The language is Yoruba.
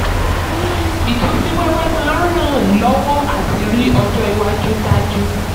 ìtú sí wẹ́wẹ́ máa ràn lọ́wọ́ láti rí ọjọ́ iwájú dájú.